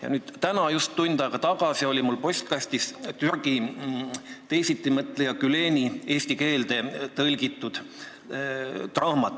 Ja nüüd täna, just tund aega tagasi tuli mulle postkasti Türgi teisitimõtleja Güleni eesti keelde tõlgitud raamat.